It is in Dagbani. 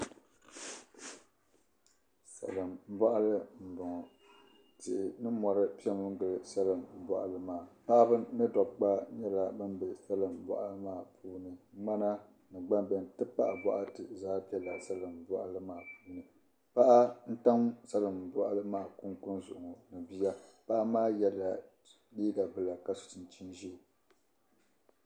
Salimbɔɣili m-bɔŋɔ. Tihi ni mɔri pɛmi gili salimbɔɣili maa paɣiba ni dɔbba nyɛla bam be salimbɔɣili maa puuni. Ŋmana ni gbambihi nti pahi bɔɣiti zaa bela bɔɣili maa puuni paɣa n-tam salimbɔɣili maa kunkuni zuɣu ŋɔ ni bia paɣa maa yɛla liiga bila ka so chinchini ʒee.